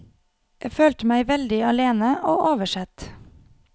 Jeg følte meg veldig alene og oversett.